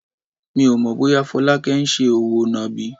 Mi ò mọ̀ bóyá Folake ń ṣe òwò nàbì.